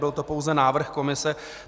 Byl to pouze návrh komise.